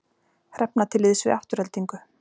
Hrefna til liðs við Aftureldingu